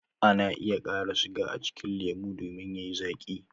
Ana iya kara siga a cikin lemu domin yayi zaaki